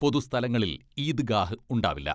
പൊതു സ്ഥലങ്ങളിൽ ഈദ്ഗാഹ് ഉണ്ടാവില്ല.